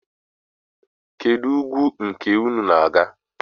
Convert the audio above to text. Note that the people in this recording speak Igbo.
Kedụ ugwu nke unu na-aga?